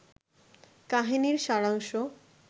কাহিনীর সারাংশ